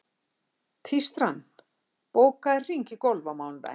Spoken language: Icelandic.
Tístran, bókaðu hring í golf á mánudaginn.